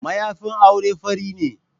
Mayafin auren fari ne.